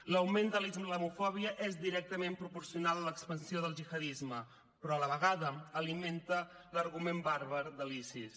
l’augment de la islamofòbia és directament proporcional a l’expansió del gihadisme però a la vegada alimenta l’argument bàrbar de l’isis